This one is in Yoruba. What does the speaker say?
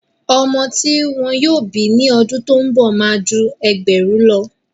ọmọ ti wọn yóò bí ní ọdún tó ń bọ̀ má a ju ẹgbẹ̀rún lọ.